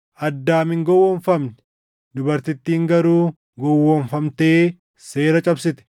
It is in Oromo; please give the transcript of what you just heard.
Addaam hin gowwoomfamne; dubartittiin garuu gowwoomfamtee seera cabsite.